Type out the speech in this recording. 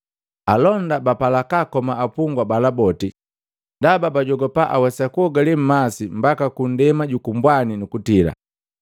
Alonda bapala kaakoma apungwa bala boti, ndaba bajogopa awesa kusibii mmasi mbaka kundema juku mbwani nukutila.